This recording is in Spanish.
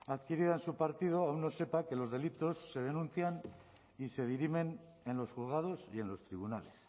adquirida en su partido aun no sepa que los delitos se denuncian y se dirimen en los juzgados y en los tribunales